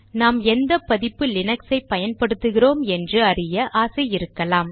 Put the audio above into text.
நாம் எந்த பதிப்பு லினக்சை பயன்படுத்துகிறோம் என்று அறிய ஆசை இருக்கலாம்